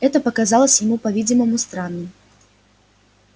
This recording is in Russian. это показалось ему по-видимому странным